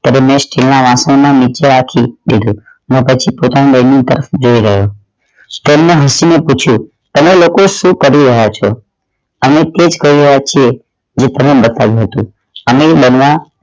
રમેશ તેના હાથો માં નીચે રાખી ને બેઠો અને પછી પોતાની પાસે જઈ રહ્યો તેમણે હસી ને પૂછ્યું તમે લોકો શું કરી રહ્યા છો અમે તે જ કરી રહ્યા છે જે તમને બતાવ્યું હતુ બનવા